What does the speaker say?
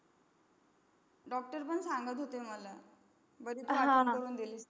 doctor पण सांगत होते मला. बरी तू आठवण करून दिलीस.